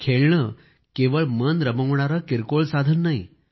खेळणे केवळ मन रमवणारे किरकोळ साधन नाही